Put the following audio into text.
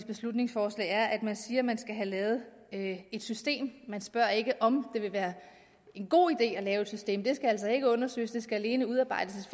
beslutningsforslag er at man siger at man skal have lavet et system man spørger ikke om det vil være en god idé at lave et system det skal altså ikke undersøges der skal alene udarbejdes